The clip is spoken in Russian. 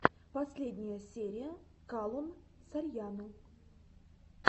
последняя серия калон сарьяно